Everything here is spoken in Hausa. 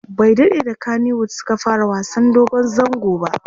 bai daɗe da kanywood Suka fara wasan dogon zango ba